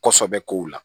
Kɔsɔbɛ kow la